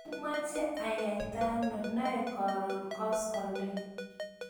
imeche ayaitano noe karon koskoleny?